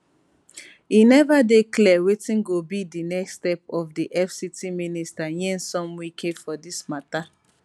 e neva dey clear wetin go be di next step of di fct minister nyesom wike for dis matter